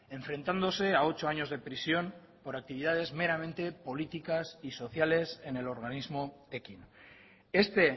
enfrentándose a ocho años de prisión por actividades meramente políticas y sociales en el organismo ekin este